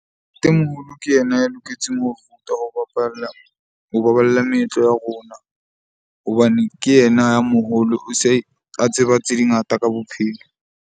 Ke yena ya loketseng ho rutwa ho bapalla, ho baballa meetlo ya rona hobane ke yena ya moholo. O se a tseba tse di ngata ka bophelo.